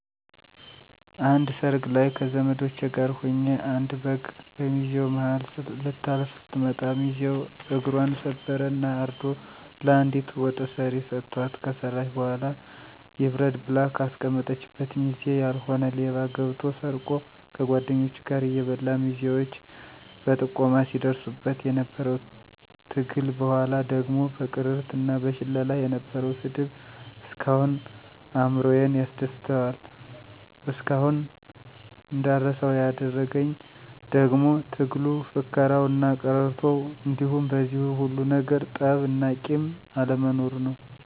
አንድ ሰርግ ላይ ከዘመዶቸ ጋር ሁኘ አንድ በግ በሚዜው ማሀል ልታልፍ ስትመጣ ሚዚው እግፘን ሰበረ እና አርዶ ለአንዲት ወጥ ሰሪ ሰተዋት ከሰራች በኋላ ይብረድ ብላ ከአስቀመጠችበት ሚዜ ያልሆነ ሌባ ገብቶ ሰርቆ ከጓድኞቹ ጋር እየበላ ሚዜዎች በጥቆማ ሲድርሱበት የነበረው ትግል በኋላ ደግሞ በቅርርት እና በሽለላ የነበረው ስድብ እስካሁን አእምሮየን ያስደስተዋል። እስካሁን እንዳረሳው ያደረግኝ ደግሞ ትግሉ፣ ፉከራው እና ቅርርቶው እንዲሁም በዚህ ሁሉ ነገር ጠብ እና ቂም አለመኖሩ ነው።